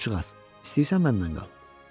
Quşcuğaz, istəyirsən mənimlə qal.